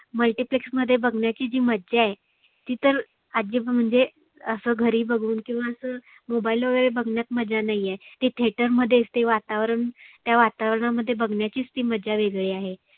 multyplex मध्ये बघण्याची जी मज्जा आहे. ती तर आजी म्हणजे आसं घरी बघुन किंवा असं mobile वगैरे बघण्यार मज्जा नाहीए. ते theater मध्येच ते वातावरण त्या वातावरणामध्ये बघण्याची ती मज्जा वेगळी आहे.